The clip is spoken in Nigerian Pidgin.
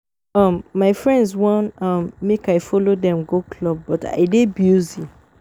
um My friends wan um make I follow dem go club but I dey busy